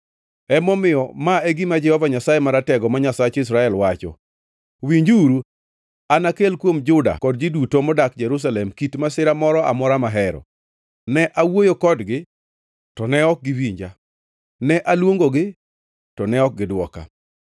“Emomiyo, ma e gima Jehova Nyasaye Maratego, ma Nyasach Israel, wacho: ‘Winjuru! Anakel kuom Juda kod ji duto modak Jerusalem kit masira moro amora mahero. Ne awuoyo kodgi, to ne ok giwinja; ne aluongogi, to ne ok gidwoka.’ ”